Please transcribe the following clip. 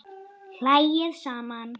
Hlæið saman